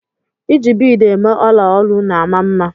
I ji biid eme ọla olu na-ama mma.